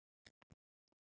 Slíkt mundi aldrei ganga.